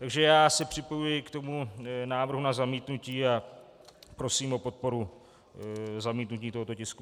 Takže já se připojuji k tomu návrhu na zamítnutí a prosím o podporu zamítnutí tohoto tisku.